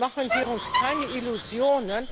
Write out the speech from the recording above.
Machen wir uns keine Illusionen.